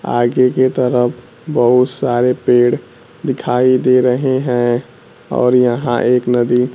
आगे की तरफ बहुत सारे पेड़ दिखाई दे रहे हैं और यहां एक नदी--